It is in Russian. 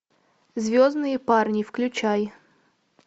звездные парни включай